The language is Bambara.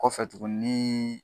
Kɔfɛ tuguni ni